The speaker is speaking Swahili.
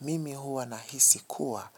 Mimi huwa nahisi kuwa